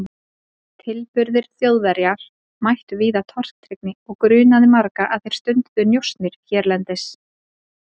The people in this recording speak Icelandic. Tilburðir Þjóðverjar mættu víða tortryggni og grunaði marga að þeir stunduðu njósnir hérlendis.